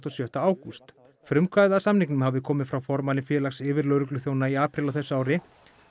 og sjötta ágúst frumkvæðið að samningnum hafi komið frá formanni félags yfirlögregluþjóna í apríl á þessu ári